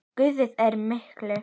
Guð er mikill.